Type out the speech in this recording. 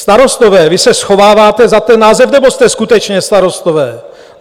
Starostové, vy se schováváte za ten název, nebo jste skutečně starostové?